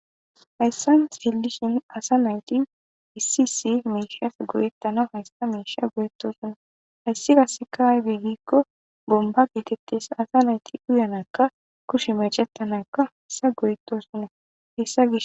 Haysan xelishen asa nayti issi issi mishati go'etanas haysa misha go'etosona haysi qaseka aybe giko bomba getetes asa nayti uyanaska kushe mec'etanawka heysa go'etosona.